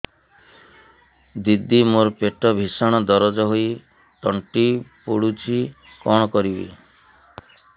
ଦିଦି ମୋର ପେଟ ଭୀଷଣ ଦରଜ ହୋଇ ତଣ୍ଟି ପୋଡୁଛି କଣ କରିବି